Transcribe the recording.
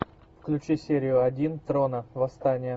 включи серию один трона восстание